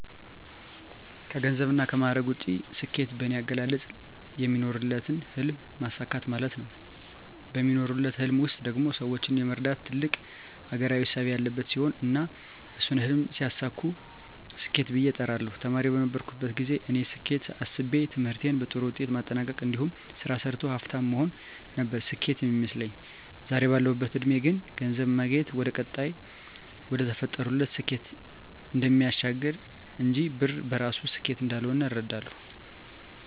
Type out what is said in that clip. ከገንዘብና ከማዕረግ ውጭ፣ ስኬት በኔ አገላለጽ የሚኖሩለትን ህልም ማሳካት ማለት ነው። በሚኖሩለት ህልም ውስጥ ደግሞ ሰወችን የመርዳትና ትልቅ አገራዊ እሳቤ ያለበት ሲሆን እና እሱን ህልም ሲያሳኩ ስኬት ብየ እጠራዋለሁ። ተማሪ በነበርኩበት ግዜ የኔ ስኬት እሳቤ ትምህርቴን በጥሩ ውጤት ማጠናቅ እንዲሁም ስራ ሰርቶ ሀፍታም መሆን ነበር ስኬት ሚመስለኝ። ዛሬ ባለሁበት እድሜ ግን ገንዘብ ማግኘት ወደቀጣይና ወደተፈጠሩለት ስኬት እሚያሸጋግር እንጅ ብር በራሱ ስኬት እንዳልሆነ እረዳለሁ።